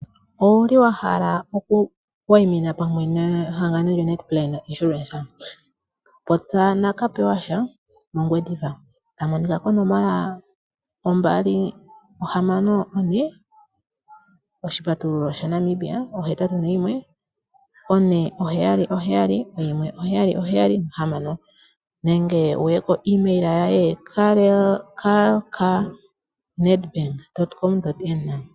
Owuli wa hala okuwayimina pamwe nehangano lyo NetBank-Insurance, popya naKapewasha moNgwediva ta monika konomola yongodhi ombali ohamano none, oshipatululo shaNamibia ohetatu noyimwe, one oheyali oheyali, oyimwe oheyali oheyali nohamano, nenge wuye koimayila ye karlka@gmail.com.